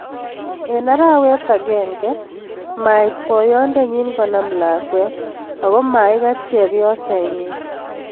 Eng arawet aenge mait boyondo nyin konam lakwet ako maikat chepyoset nyin.